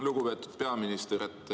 Lugupeetud peaminister!